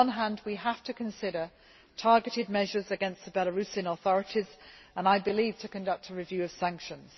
On the one hand, we have to consider targeted measures against the Belarusian authorities and, I believe, to conduct a review of sanctions.